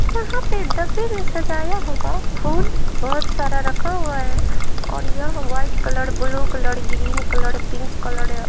यहां पर डब्बे में सजाया होगा फूल बहुत सारा रखा हुआ है और यह white colour blue colour green colour pink colour है।